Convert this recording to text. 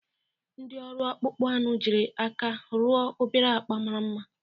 Ndị ọrụ akpụkpọ anụ jiri aka rụọ obere akpa mara mma